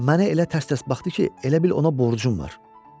Mənə elə tərs-tərs baxdı ki, elə bil ona borcum var.